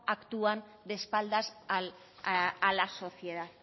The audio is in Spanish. actúan de espaldas a la sociedad